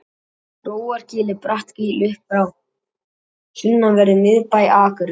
grófargil er bratt gil upp frá sunnanverðum miðbæ akureyrar